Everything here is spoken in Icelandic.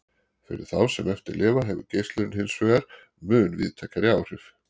Fyrir þá sem eftir lifa hefur geislunin hinsvegar mun víðtækari áhrif.